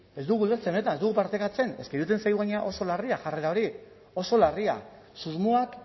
ez dugu ulertzen benetan ez dugu partekatzen eske iruditzen zaigu gainera oso larria jarrera hori oso larria susmoak